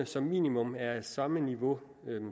som minimum er på samme niveau